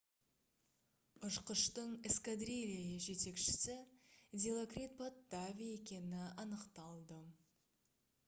ұшқыштың эскадрилья жетекшісі дилокрит паттави екені анықталды